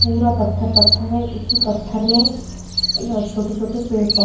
पूरा पत्थर पत्थर है उसी पत्थर में छोटे-छोटे पेड़ पौधे --